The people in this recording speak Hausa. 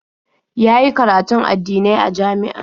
Ya yi karatun addinai a jami'a.